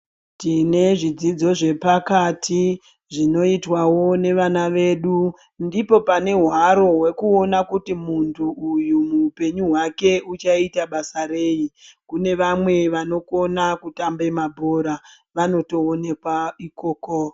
Tine zvidzidzo zvepakati zvinoitwavo nevana vedu ndipo pane hwaro hwekuona kuti muntu uyu muupenyu hwake uchaita basa rei. Kune vamwe vanokona kutambe mabhora vanotoonekwa ikoko.